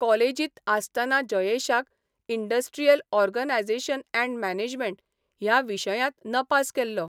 कॉलेजींत आसतना जयेशाक इंडस्ट्रियल ऑर्गनायझेशन अँड मॅनेजमेंट ह्या विशयांत नपास केल्लो.